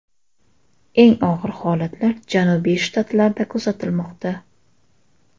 Eng og‘ir holatlar janubiy shtatlarda kuzatilmoqda.